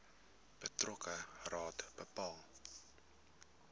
betrokke raad bepaal